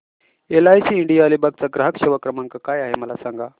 LIC India Alibag चा ग्राहक सेवा क्रमांक काय आहे मला सांगा